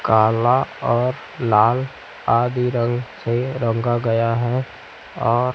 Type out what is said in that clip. काला और लाल आदि रंग से रंगा गया है और--